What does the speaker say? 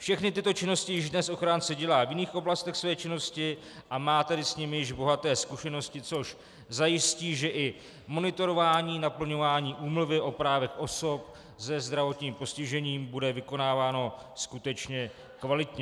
Všechny tyto činnosti již dnes ochránce dělá v jiných oblastech své činnosti, a má tedy s nimi již bohaté zkušenosti, což zajistí, že i monitorování naplňování úmluvy o právech osob se zdravotním postižením bude vykonáváno skutečně kvalitně.